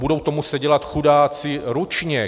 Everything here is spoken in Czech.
Budou to muset dělat chudáci ručně!